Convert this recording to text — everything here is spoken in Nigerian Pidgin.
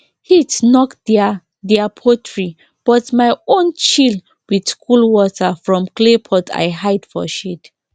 heat knock their their poultry but my own chill with cool water from clay pot i hide for shade